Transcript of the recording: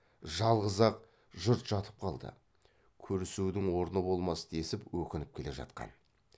жалғыз ақ жұрт жатып қалды көрісудің орны болмас десіп өкініп келе жатқан